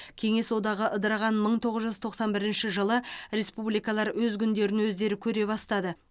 кеңес одағы ыдыраған мың тоғыз жүз тоқсан бірінші жылы республикалар өз күндерін өздері көре бастады